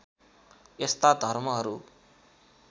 यस्ता धर्महरू